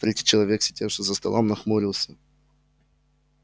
третий человек сидевший за столом нахмурился